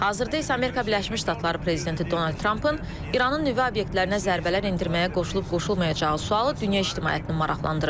Hazırda isə Amerika Birləşmiş Ştatları prezidenti Donald Trampın İranın nüvə obyektlərinə zərbələr endirməyə qoşulub-qoşulmayacağı sualı dünya ictimaiyyətini maraqlandırır.